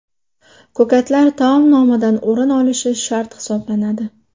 Ko‘katlar Ko‘katlar taomnomadan o‘rin olishi shart hisoblanadi.